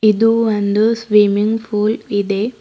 ಇದು ಒಂದು swimming pool ಇದೆ.